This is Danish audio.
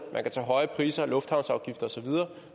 man kan tage høje priser og lufthavnsafgifter osv